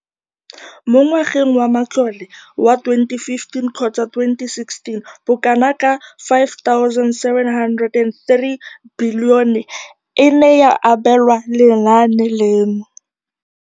Mo ngwageng wa matlole wa 2015,16, bokanaka R5 703 bilione e ne ya abelwa lenaane leno.